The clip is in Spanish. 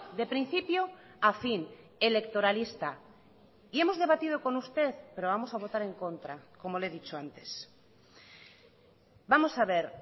de principio a fin electoralista y hemos debatido con usted pero vamos a votar en contra como le he dicho antes vamos a ver